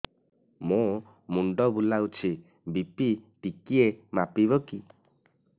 ମୋ ମୁଣ୍ଡ ବୁଲାଉଛି ବି.ପି ଟିକିଏ ମାପିବ କି